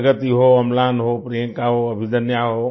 प्रगति हो अम्लान हो प्रियंका हो अभिदन्या हो